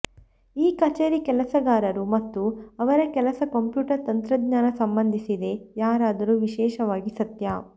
ಈ ಕಚೇರಿ ಕೆಲಸಗಾರರು ಮತ್ತು ಅವರ ಕೆಲಸ ಕಂಪ್ಯೂಟರ್ ತಂತ್ರಜ್ಞಾನ ಸಂಬಂಧಿಸಿದೆ ಯಾರಾದರೂ ವಿಶೇಷವಾಗಿ ಸತ್ಯ